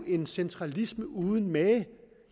en centralisme uden mage